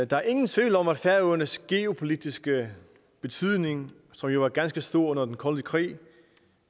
der er ingen tvivl om at færøernes geopolitiske betydning som jo var ganske stor under den kolde krig